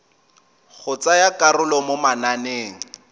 go tsaya karolo mo mananeng